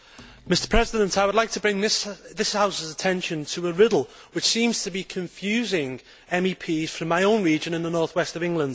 Mr President, I would like to bring to this House's attention a riddle which seems to be confusing MEPs from my own region in the North West of England.